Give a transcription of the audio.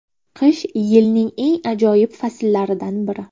Qish yilning eng ajoyib fasllaridan biri.